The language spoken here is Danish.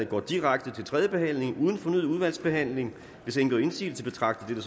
går direkte til tredje behandling uden fornyet udvalgsbehandling hvis ingen gør indsigelse betragter jeg